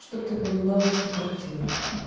чтобы ты понимала всю картину